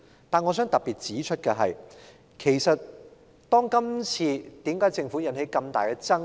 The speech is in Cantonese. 但我想特別指出的是，為甚麼政府今次會引起這麼大的爭議？